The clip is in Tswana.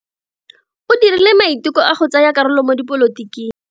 O dirile maiteko a go tsaya karolo mo dipolotiking.